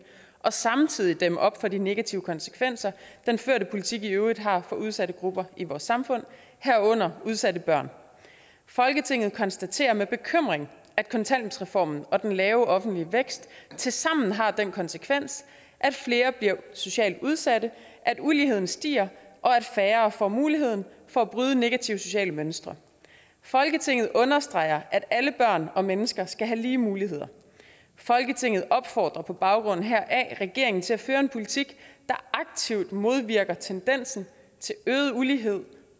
og samtidig dæmme op for de negative konsekvenser den førte politik i øvrigt har for udsatte grupper i vores samfund herunder udsatte børn folketinget konstaterer med bekymring at kontanthjælpsreformen og den lave offentlige vækst tilsammen har den konsekvens at flere bliver socialt udsatte at uligheden stiger og at færre får muligheden for at bryde negative sociale mønstre folketinget understreger at alle børn og mennesker skal have lige muligheder folketinget opfordrer på baggrund heraf regeringen til at føre en politik der aktivt modvirker tendensen til øget ulighed